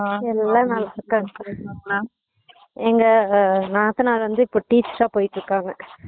எல்லா நல்லா இருக்காங்க பாபி மா எங்க நாத்தனார் வந்து இப்போ teacher ஆ போயிட்டு இருக்காங்க